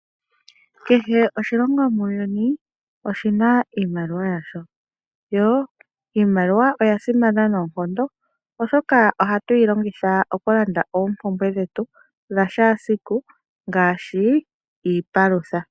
Kehe oshilongo muuyuni oshina iimaliwa yasho iimaliwa yo oyasimana noonkondo oshoka ohatu yilongitha okulanda ompumbwe dhetu dhesiku kehe ngaashi iipalutha.